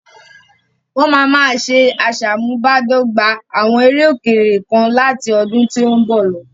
Wọ́n máa máa ṣe asamubádọ́gba àwọn eré òkèèrè kan láti ọdún tí ó ń bọ̀ lọ.